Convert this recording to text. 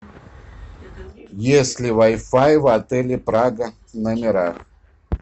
есть ли вай фай в отеле прага в номерах